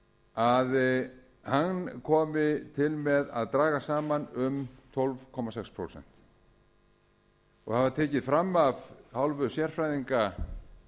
að hann komi til með að dragast saman um tólf komma sex prósent það var tekið fram af hálfu sérfræðinga